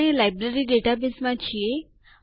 આપણે લાઈબ્રેરી ડેટાબેઝમાં છીએ